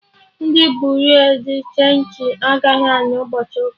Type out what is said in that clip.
Ndị Buriu di chenji agaghị anọ ụbọchị ụka